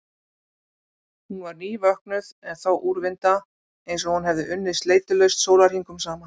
Hún var nývöknuð en þó úrvinda, einsog hún hefði unnið sleitulaust sólarhringum saman.